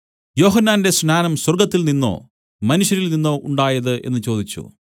യോഹന്നാന്റെ സ്നാനം സ്വർഗ്ഗത്തിൽനിന്നോ മനുഷ്യരിൽനിന്നോ ഉണ്ടായത് എന്നു ചോദിച്ചു